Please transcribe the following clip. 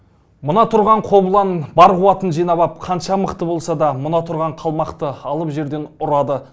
мына тұрған қобылан бар қуатын жинап ап қанша мықты болса да мына тұрған қалмақты алып жерден ұрады